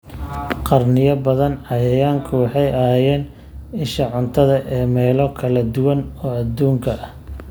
Qarniyo badan, cayayaanku waxay ahaayeen isha cuntada ee meelo kala duwan oo adduunka ah